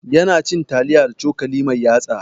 Ya na cin taliya da cokali mai yatsa